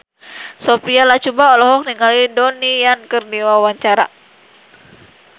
Sophia Latjuba olohok ningali Donnie Yan keur diwawancara